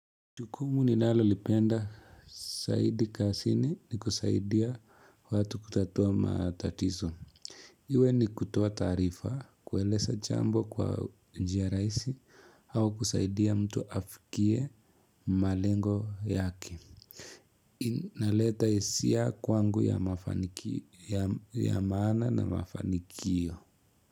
Jukumu ninalolipenda, zaidi kazini ni kusaidia watu kutatua matatizo. Iwe ni kutoa taarifa, kueleza jambo kwa njia rahisi au kusaidia mtu afikie malengo yake. Inaleta hisia kwangu ya maana na mafanikio.